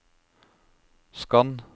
skann